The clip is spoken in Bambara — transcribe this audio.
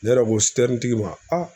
Ne yɛrɛ ko tigiw ma a